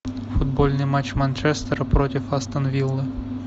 футбольный матч манчестера против астон виллы